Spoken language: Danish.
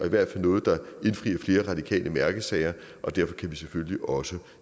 i hvert fald noget der indfrier flere radikale mærkesager og derfor kan vi selvfølgelig også